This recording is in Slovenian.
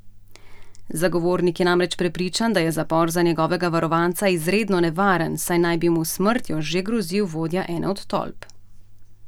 Zagovornik je namreč prepričan, da je zapor za njegovega varovanca izredno nevaren, saj naj bi mu s smrtjo že grozil vodja ene od tolp.